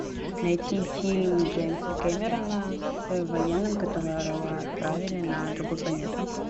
найти фильм джеймса кэмерона с военным которого отправили на другую планету